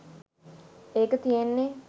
ඒක තියෙන්නෙ